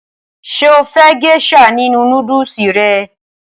Ṣé o fẹ́ gésà nínu nódùsù rẹ?